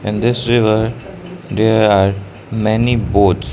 in this river there are many boats.